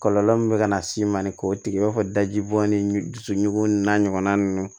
Kɔlɔlɔ min bɛ ka na s'i ma ni k'o tigi b'a fɔ daji bɔ ni dusukun n'a ɲɔgɔnna ninnu